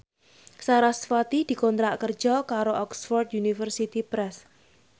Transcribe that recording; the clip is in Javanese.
sarasvati dikontrak kerja karo Oxford University Press